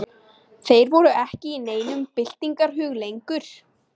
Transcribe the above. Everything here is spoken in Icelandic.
Þeir voru ekki í neinum byltingarhug lengur.